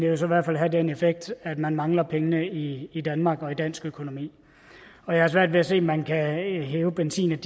jo så i hvert fald have den effekt at man mangler pengene i i danmark og i dansk økonomi jeg har svært ved at se at man kan hæve benzin